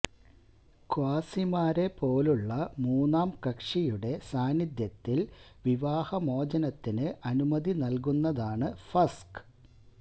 ഖ്വാസിമാരെ പോലുള്ള മൂന്നാം കക്ഷിയുടെ സാന്നിധ്യത്തിൽ വിവാഹ മോചനത്തിന് അനുമതി നൽകുന്നതാണ് ഫസ്ഖ്